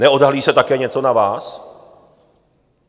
Neodhalí se také něco na vás?